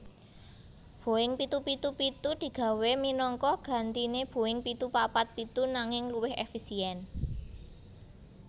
Boeing pitu pitu pitu digawé minangka gantiné Boeing pitu papat pitu nanging luwih éfisièn